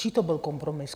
Čí to byl kompromis?